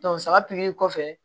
saga pikiri kɔfɛ